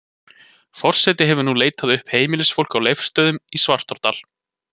Forseti hefur nú leitað uppi heimilisfólkið á Leifsstöðum í Svartárdal.